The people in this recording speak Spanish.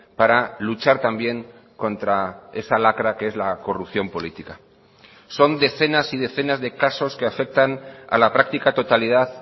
para luchar también contra esa lacra que es la corrupción política son decenas y decenas de casos que afectan a la práctica totalidad